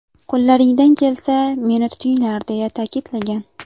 Qo‘llaringdan kelsa, meni tutinglar”, deya ta’kidlagan .